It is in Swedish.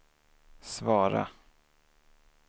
svara